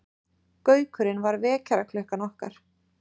Gaukurinn var vekjaraklukkan okkar.